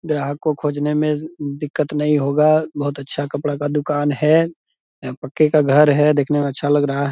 ग्राहक को खोजने में दिक्कत नहीं होगा बहुत अच्छा कपड़ा का दुकान है यहाँ पक्के का घर है दिखने में अच्छा लग रहा है।